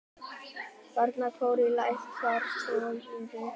Barnakór á Lækjartorgi.